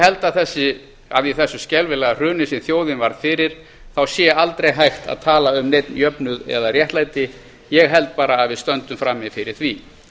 held að í þessu skelfileg hruni sem þjóðin varð fyrir þá sé aldrei hægt að tala um neinn jöfnuð eða réttlæti ég held bara að við stöndum frammi fyrir því